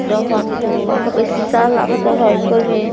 देखेह वहाँ पे सीसा लागाता हेय ऊपर में।